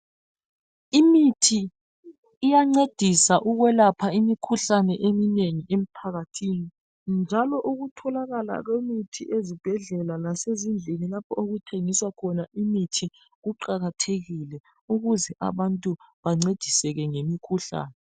Imithi iyancedisa ukwelapha imikhuhlane eminengi emphakathini njalo ukutholakala kwemithi ezibhedlela lasezindlini lapho okuthengiswa khona imithi kuqakathekile ukuze abantu bancediseke ngemikhuhlane.